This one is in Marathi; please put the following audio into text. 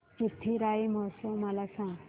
चिथिराई महोत्सव मला सांग